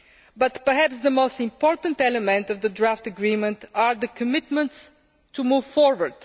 But perhaps the most important element of the draft agreement is the commitment to move forward.